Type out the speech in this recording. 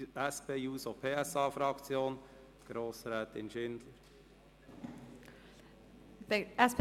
Dann gebe ich das Wort der SP-JUSO-PSA-Fraktion, Grossrätin Schindler.